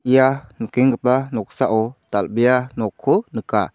ia nikenggipa noksao dal·bea nokko nika.